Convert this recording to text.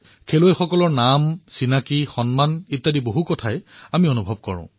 খেলুৱৈৰ নাম সন্মানৰ দৰে বহু কথা আমি অনুভৱ কৰোঁ